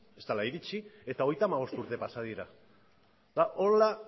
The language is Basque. ez dela iritsi eta hogeita hamabost urte pasa dira eta